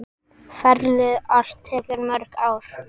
Ferlið allt tekur mörg ár.